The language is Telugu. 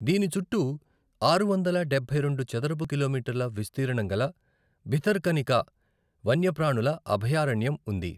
దీని చుట్టూ ఆరు వందల డబ్బై రెండు చదరపు కిలోమీటర్ల విస్తీర్ణంగల భితర్కనికా వన్యప్రాణుల అభయారణ్యం ఉంది.